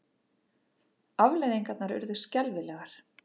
Afleiðingarnar urðu skelfilegar.